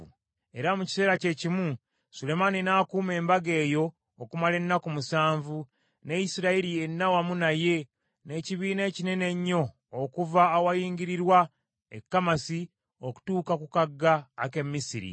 Era mu kiseera kyekimu Sulemaani n’akuuma embaga eyo okumala ennaku musanvu, ne Isirayiri yenna wamu naye, n’ekibiina ekinene ennyo okuva awayingirirwa e Kamasi okutuuka ku kagga ak’e Misiri.